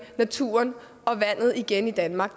naturen og vandet igen i danmark